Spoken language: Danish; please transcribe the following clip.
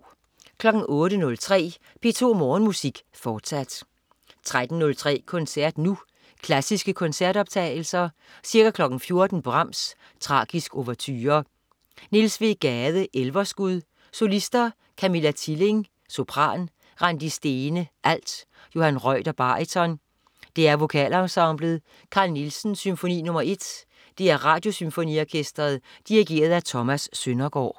08.03 P2 Morgenmusik. Fortsat 13.03 Koncert Nu. Klassiske koncertoptagelser. Ca. 14.00 Brahms: Tragisk ouverture. Niels W. Gade: Elverskud. Solister: Camilla Tilling, sopran. Randi Stene, alt. Johan Reuter, baryton. DR Vokalensemblet. Carl Nielsen: Symfoni nr.1. DR Radiosymfoniorkestret. Dirigent: Thomas Søndergaard